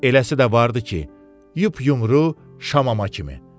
Eləsi də vardı ki, yup-yumru şamama kimi.